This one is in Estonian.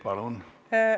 Palun!